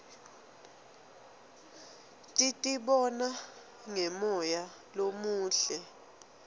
titibona ngemoya lomuhle